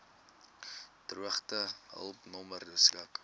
droogtehulp nommer beskik